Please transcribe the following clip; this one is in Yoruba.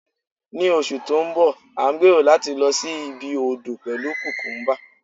ní oṣù ti nbọ, a n gbero lati lo sí ibi odo pelu cucumba